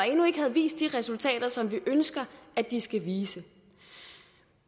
endnu ikke havde vist de resultater som vi ønsker at de skal vise